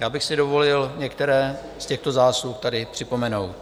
Já bych si dovolil některé z těchto zásluh tady připomenout.